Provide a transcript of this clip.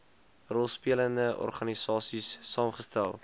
rolspelende organisaies saamgestel